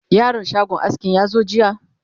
yaron shagon askin ya zo jiya?